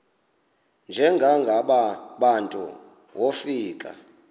njengaba bantu wofika